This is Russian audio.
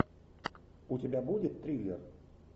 у тебя будет триллер